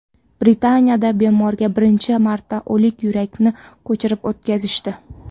Britaniyada bemorga birinchi marta o‘lik yurakni ko‘chirib o‘tkazishdi.